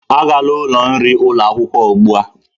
Agala ụlọ nri ụlọ akwụkwọ ugbu a!